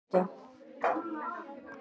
Viktoría, hringdu í Engilbjörtu.